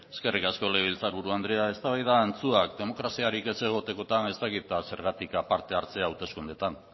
eskerrik asko legebiltzar buru andrea eztabaida antzuak demokraziarik ez egotekotan ez dakit zergatik da parte hartzea hauteskundeetan